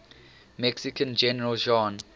mexican general juan